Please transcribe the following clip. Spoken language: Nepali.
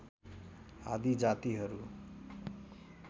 आदि जातिहरू